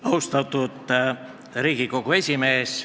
Austatud Riigikogu esimees!